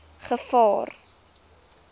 gevaar